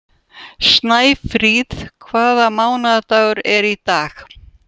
Snæfríð, hvaða mánaðardagur er í dag?